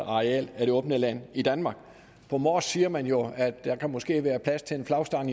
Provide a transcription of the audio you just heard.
areal i det åbne land i danmark på mors siger man jo at der måske kan være plads til en flagstang